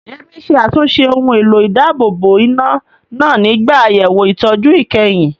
Yemi ṣe àtúnṣe ohun èlò ìdáàbòbò iná náà nígbà àyẹ̀wò ìtọ́jú ìkẹyìn.